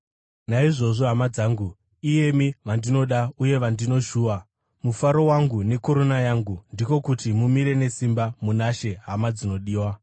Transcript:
Naizvozvo, hama dzangu, iyemi vandinoda uye vandinoshuva, mufaro wangu nekorona yangu, ndiko kuti mumire nesimba muna She, hama dzinodiwa!